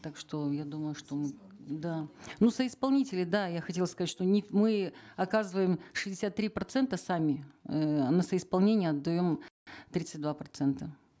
так что я думаю что мы да ну соисполнители да я хотеда сказать что не мы оказываем шестьдесят три процента сами эээ на соисполнение отдаем тридцать два процента